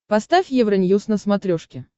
поставь евроньюз на смотрешке